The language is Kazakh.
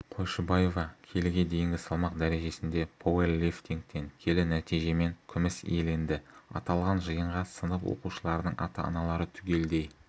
қойшыбаева келіге дейінгі салмақ дәрежесінде пауэрлифтингтен келі нәтижемен күміс иеленді аталған жиынға сынып оқушыларының ата-аналары түгелдей